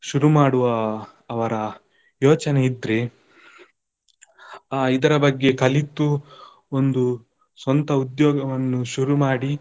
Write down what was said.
ಶುರು ಮಾಡುವ ಅ~ ಅವರ ಯೋಚನೆ ಇದ್ರೆ ಇದರ ಬಗ್ಗೆ ಕಲಿತು ಒಂದು ಸ್ವಂತ ಉದ್ಯೋಗವನ್ನು ಶುರು ಮಾಡಿ.